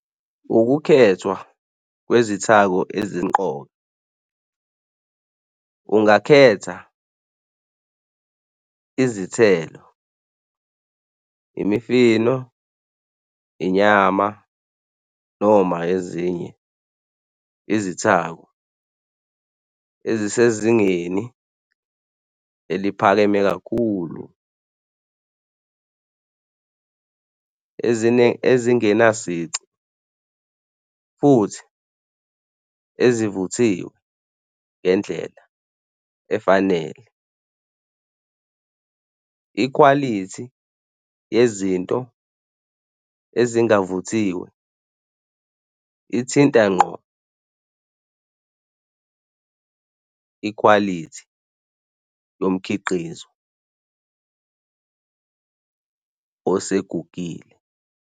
Ukukhethwa kwezithako ezimqoka ungakhetha izithelo, imifino, inyama noma ezinye izithako ezisezingeni eliphakeme kakhulu ezingena sici futhi ezivuthiwe ngendlela efanele. Ikhwalithi yezinto ezingavuthiwe ithinta ngqo ikhwalithi yomkhiqizo osegugile.